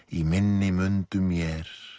í minni mundu mér